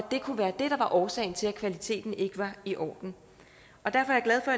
det kunne være det der var årsagen til at kvaliteten ikke var i orden derfor er